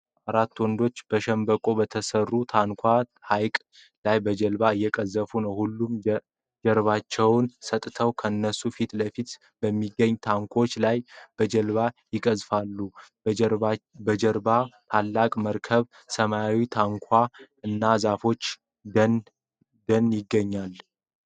አራት ወንዶች በሸምበቆ በተሠሩ ታንኳዎች ሐይቅ ላይ በጀልባ እየቀዘፉ ነው። ሁሉም ጀርባቸውን ሰጥተው ከነሱ ፊት ለፊት በሚገኙ ታንኳዎች ላይ በጀልባ ይቀዝፋሉ። በጀርባው ትላልቅ መርከቦች፣ ሰማያዊ ታንኳዎች እና የዛፎች ደን ይገኛሉ።